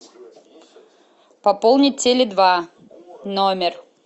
пополнить теле два номер